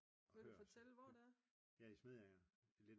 Vil du fortælle hvor det er?